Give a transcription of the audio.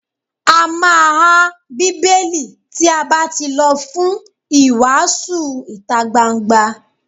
A má há Bíbélì tí a bá tí lọ fún ìwàásù ìtagbangba.